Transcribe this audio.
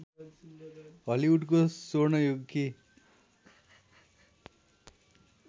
हलिउडको स्वर्ण युगकी